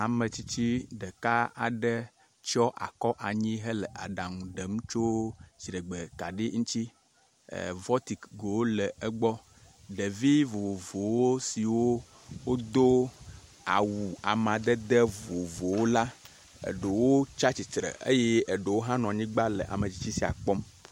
ametsitsi ɖeka aɖe tsɔ akɔ anyi hele aɖaŋu ɖem tso dziɖegbe kaɖi ŋtsi e vɔtik gowo le egbɔ ɖevi vovovowo siwo dó awu amadede vovovowo la eɖo tsatsitre eye eɖowo hã nɔ anyigbã le ametsitsi sia kpɔm